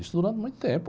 Isso durante muito tempo.